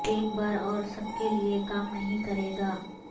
ایک بار اور سب کے لئے کام نہیں کرے گا